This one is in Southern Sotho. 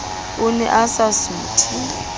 o ne a sa suthe